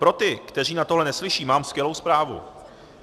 Pro ty, kteří na tohle neslyší, mám skvělou zprávu.